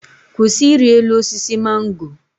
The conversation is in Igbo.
Kwụsị iri elu osisi mango!